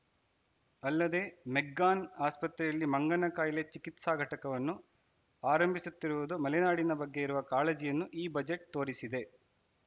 ಅಲ್ಲದೆ ಮೆಗ್ಗಾನ್‌ ಆಸ್ಪತ್ರೆಯಲ್ಲಿ ಮಂಗನ ಕಾಯಿಲೆ ಚಿಕಿತ್ಸಾ ಘಟಕವನ್ನು ಆರಂಭಿಸುತ್ತಿರುವುದು ಮಲೆನಾಡಿನ ಬಗ್ಗೆ ಇರುವ ಕಾಳಜಿಯನ್ನು ಈ ಬಜೆಟ್‌ ತೋರಿಸಿದೆ